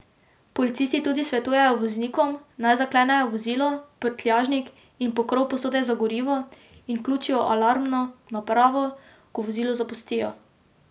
Policisti tudi svetujejo voznikom, naj zaklenejo vozilo, prtljažnik in pokrov posode za gorivo in vključijo alarmno napravo, ko vozilo zapustijo.